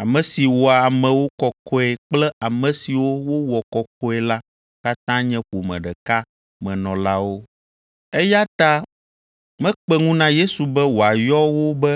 Ame si wɔa amewo kɔkɔe kple ame siwo wowɔ kɔkɔe la katã nye ƒome ɖeka me nɔlawo. Eya ta mekpe ŋu na Yesu be wòayɔ wo be